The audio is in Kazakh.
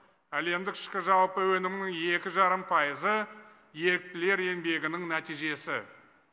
әлемдік ішкі жалпы өнімнің екі жарым пайызы еріктілер еңбегінің нәтижесі